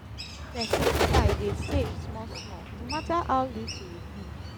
mek pesin try dey safe smal smal no mata ow little e be